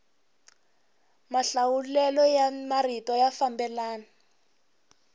mahlawulelo ya marito ya fambelana